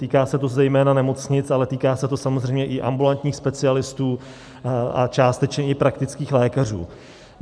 Týká se to zejména nemocnic, ale týká se to samozřejmě i ambulantních specialistů a částečně i praktických lékařů.